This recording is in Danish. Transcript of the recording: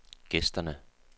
gæsterne